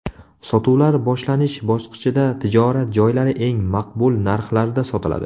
Sotuvlar boshlanish bosqichida tijorat joylari eng maqbul narxlarda sotiladi.